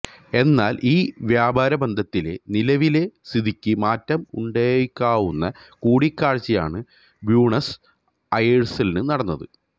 എന്നാല് ഈ വ്യാപാരബന്ധത്തിലെ നിലവിലെ സ്ഥിതിക്ക് മാറ്റം ഉണ്ടായേക്കാവുന്ന കൂടിക്കാഴ്ചയാണ് ബ്യൂണസ് അയേഴ്സില് നടന്നത്